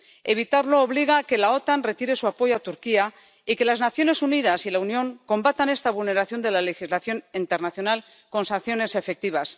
Evitarlo obliga a que la OTAN retire su apoyo a Turquía y a que las Naciones Unidas y la Unión combatan esta vulneración de la legislación internacional con sanciones efectivas.